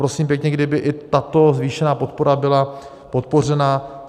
Prosím pěkně, kdyby i tato zvýšená podpora byla podpořena.